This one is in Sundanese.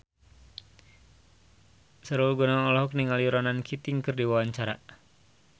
Sahrul Gunawan olohok ningali Ronan Keating keur diwawancara